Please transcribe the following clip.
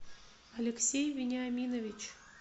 алексей вениаминович